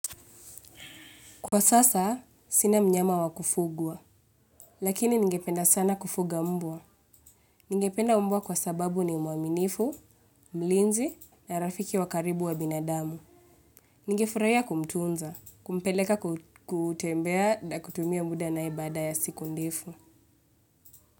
Kwa sasa, sina mnyama wa kufugwa, lakini ningependa sana kufuga mbwa. Ningependa mbwa kwa sababu ni mwaminifu, mlinzi na rafiki wa karibu wa binadamu. Ningefurahia kumtunza, kumpeleka kutembea na kutumia muda na baada ya siku ndefu.